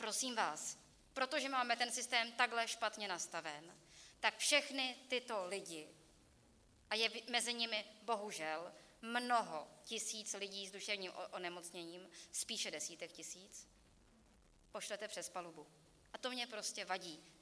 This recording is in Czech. Prosím vás, protože máme ten systém takhle špatně nastaven, tak všechny tyto lidi - a je mezi nimi bohužel mnoho tisíc lidí s duševním onemocněním, spíše desítek tisíc - pošlete přes palubu, a to mně prostě vadí.